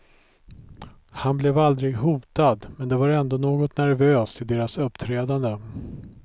Han blev aldrig hotad, men det var ändå något nervöst i deras uppträdande.